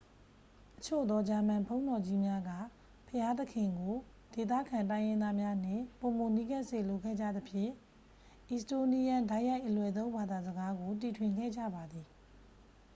အချို့သော ဂျာမန်ဘုန်းတော်ကြီးများက ဘုရားသခင်ကို ဒေသခံတိုင်းရင်းသားများနှင့် ပိုမိုနီးကပ်စေလိုခဲ့ကြသဖြင့် အီစတိုးနီးယန်း တိုက်ရိုက် အလွယ်သုံး ဘာသာစကားကို တီထွင်ခဲ့ကြပါသည်